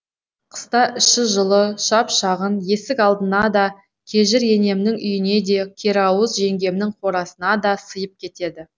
қыста іші жылы шап шағын есік алдына да кежір енемнің үйіне де керауыз жеңгемнің қорасына да сыйып кетеді